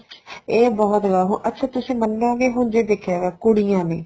ਇਹ ਬਹੁਤ ਗਾ ਵੋ ਅੱਛਾ ਤੁਸੀ ਮੰਨੋਗੇ ਹੁਣ ਜੇ ਦੇਖਿਆ ਜਾਏ ਕੁੜੀਆਂ ਨੇ